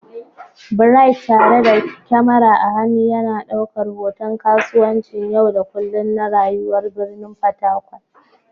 Bright, tare da kyamara a hannu, yana ɗaukar hoton kasuwancin yau da kullun na rayuwar birnin Fatakwal.